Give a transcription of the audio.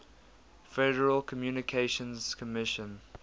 federal communications commission